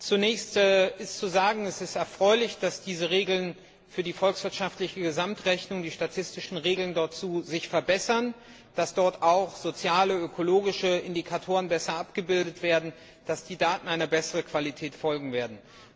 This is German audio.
Zunächst ist zu sagen, es ist erfreulich, dass sich die Regeln für die volkswirtschaftliche Gesamtrechnung die statistischen Regeln dazu verbessern, dass dort auch soziale, ökologische Indikatoren besser abgebildet werden, dass die Daten einer besseren Qualität folgen werden.